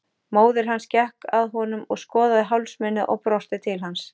Móðir hans gekk að honum og skoðaði hálsmenið og brosti til hans.